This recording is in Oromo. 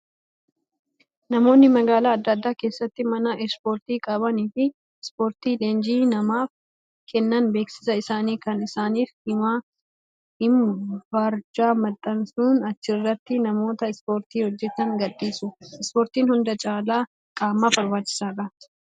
Namoonni magaalaa adda addaa keessatti mana ispoortii qabanii fi ispoortii leenjii namaaf Kennan beeksisa isaanii kan isaaniif himu barjaa maxxansuun achirratti namoota ispoortii hojjatan gadhiisu. Ispoortiin hunda caalaa qaamaaf barbaachisaadha.